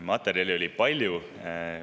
Materjali on palju.